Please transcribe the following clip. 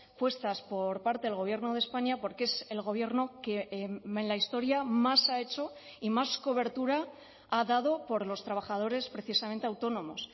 puestas por parte del gobierno de españa porque es el gobierno que en la historia más ha hecho y más cobertura ha dado por los trabajadores precisamente autónomos